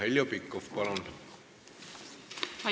Heljo Pikhof, palun!